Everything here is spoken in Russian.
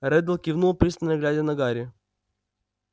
реддл кивнул пристально глядя на гарри